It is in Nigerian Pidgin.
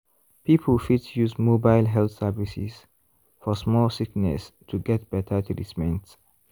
people fit use mobile health services for small sickness to get better treatment.